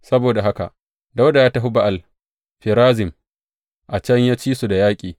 Saboda haka Dawuda ya tafi Ba’al Ferazim, a can ya ci su da yaƙi.